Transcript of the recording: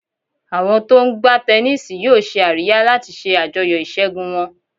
Àwọn tó ń gbá tẹníìsì yóò ṣe àríyá láti ṣe àjọyọ̀ ìṣẹ́gun wọn.